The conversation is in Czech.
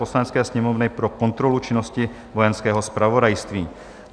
Poslanecké sněmovny pro kontrolu činnosti Vojenského zpravodajství